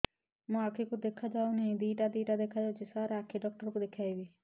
ମୋ ଆଖିକୁ ଦେଖା ଯାଉ ନାହିଁ ଦିଇଟା ଦିଇଟା ଦେଖା ଯାଉଛି ସାର୍ ଆଖି ଡକ୍ଟର କୁ ଦେଖାଇବି